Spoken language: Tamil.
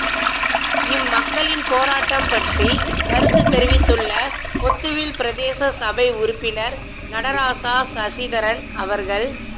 இம்மக்களின் போராட்டம் பற்றி கருத்துத் தெரிவித்துள்ள பொத்துவில் பிரதேச சபை உறுப்பினர் நடராசா சசிதரன் அவர்கள்